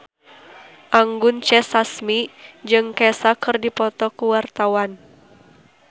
Anggun C. Sasmi jeung Kesha keur dipoto ku wartawan